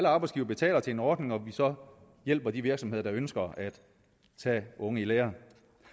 arbejdsgivere betaler til en ordning og hvor vi så hjælper de virksomheder der ønsker at tage unge i lære